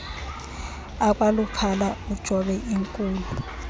akwaluphala ujobe inkulu